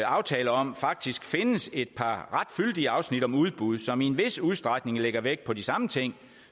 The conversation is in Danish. aftale om faktisk findes et par ret fyldige afsnit om udbud som i en vis udstrækning lægger vægt på de samme ting